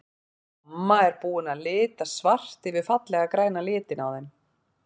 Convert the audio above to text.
Mamma er búin að lita svart yfir fallega græna litinn á þeim.